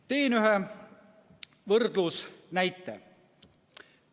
Toon võrdluseks ühe näite.